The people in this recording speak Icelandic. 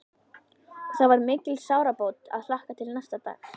Og það var mikil sárabót að hlakka til næsta dags.